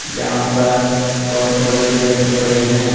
यहां पर बहोत बड़े गेट पड़े है।